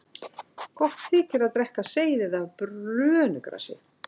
Gott þykir að drekka seyðið af brönugrasi.